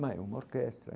Mas é uma orquestra.